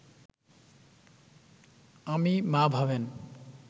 আমি, মা ভাবেন